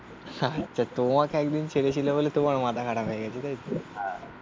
তোমাকে একদিন ছেড়েছিলে বলে তোমার তোমাকে একদিন ছেড়েছিলে বলে তোমার মাথা খারাপ হয়ে গেছে তাই তো